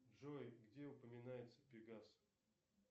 джой где упоминается пегас